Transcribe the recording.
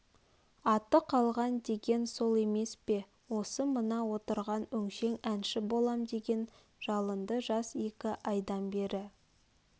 аты қалған деген сол емес пе осы мына отырған өңшең әнші болам деген жалынды жас екі айдан бері